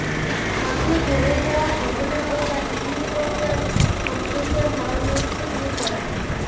মাঠে হয়ে যাওয়া ঘটনা ও তা টিভির পর্দায় সম্প্রচার হওয়ার মধ্যে যে কয়েক